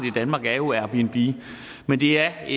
i danmark er jo airbnb men det er